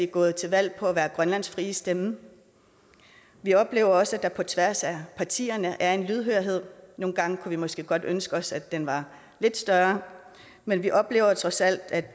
gået til valg på at være grønlands frie stemme vi oplever også at der på tværs af partierne er en lydhørhed nogle gange kunne vi måske godt ønske os at den var lidt større men vi oplever trods alt at